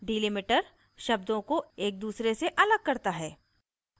delimiter शब्दों को एक दूसरे से अलग करता है